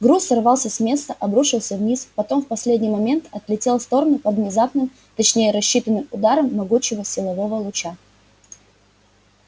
груз сорвался с места обрушился вниз потом в последний момент отлетел в сторону под внезапным точнее рассчитанным ударом могучего силового луча